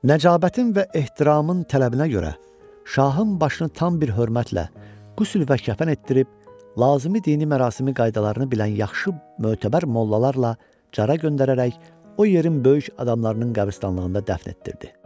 Nəcabətin və ehtiramın tələbinə görə, şahın başını tam bir hörmətlə qüsl və kəfən etdirib, lazımi dini mərasimi qaydalarını bilən yaxşı mötəbər mollalarla Cara göndərərək, o yerin böyük adamlarının qəbristanlığında dəfn etdirdi.